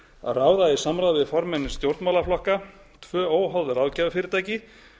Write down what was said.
að ráða í samráði við formenn stjórnmálaflokka tvö óháð ráðgjafarfyrirtæki